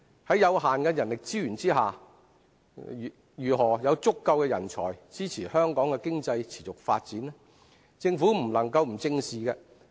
在有限的人力資源下，如何有足夠人才支持香港經濟持續發展，政府不能不加以正視。